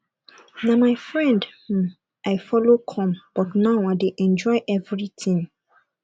na my friend um i follow come but now i dey enjoy everything